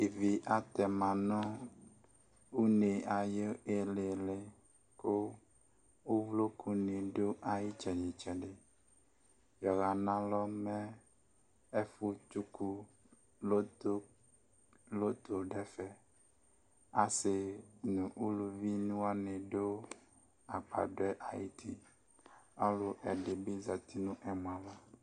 Ivi atɛma nʋ une ayiʋ iililiKʋ uvloku ni dʋ iyitsɛdi tsɛdiYɔɣanalɔ mɛ ɛfu tsuku loto , loto dʋ ɛfɛƆsi nʋ uluvi wani dʋ agbadɔɛ ayutiƆlʋ ɛdibi zati nʋ ɛmɔ'ava